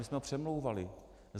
My jsme ho přemlouvali.